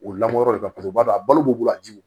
O lamɔ yɔrɔ de kasɔrɔ o b'a don a balo b'u bolo a jiw